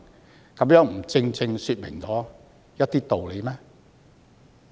這豈不正正說明了一些道理嗎？